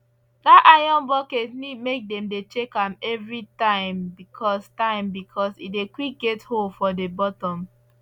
that iron bucket need make them dey check am every time because time because e dey quick get hole for the buttom